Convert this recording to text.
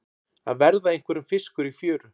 Að verða einhverjum fiskur í fjöru